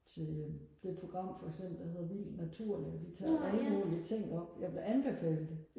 til øh det program for eksempel der hedder vild natur nemlig de tager alle mulige ting op jeg vil anbefale det